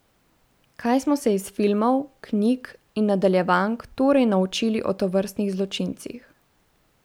Kaj smo se iz filmov, knjig in nadaljevank torej naučili o tovrstnih zločincih?